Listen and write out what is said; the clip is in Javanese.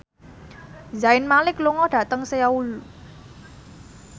Zayn Malik lunga dhateng Seoul